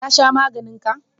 Ka sha maganin ka?